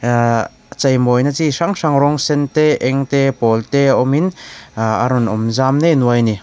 ah chei mawi na chi hrang hrang rawng sen te eng te pawl te awm in ah a rawn awm zam nei nuai ani.